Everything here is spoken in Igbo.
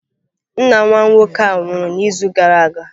Nna nwa nwoke a nwụrụ n'izu gara aga